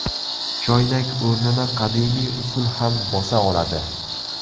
Choynak o‘rnini qadimiy usul ham bosa oladi.